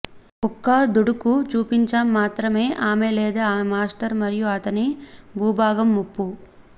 కుక్క దుడుకు చూపించాం మాత్రమే ఆమె లేదా ఆమె మాస్టర్ మరియు అతని భూభాగం ముప్పు